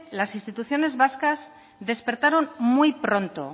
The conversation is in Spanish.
las instituciones vascas despertaron muy pronto